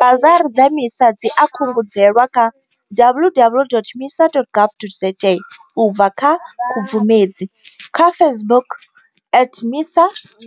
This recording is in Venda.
Basari dza MISA dzi a kungedzelwa kha www.misa.gov.za u bva nga Khubvumedzi, kha Facebook at MISA,